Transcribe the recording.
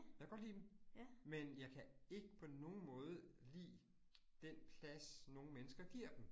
Jeg godt lide dem. Men jeg kan ikke på nogen måde lide den plads, nogle mennesker giver dem